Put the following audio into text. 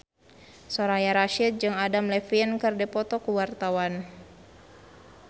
Soraya Rasyid jeung Adam Levine keur dipoto ku wartawan